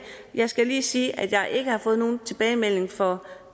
jeg skal lige sige at jeg ikke har fået nogen tilbagemelding fra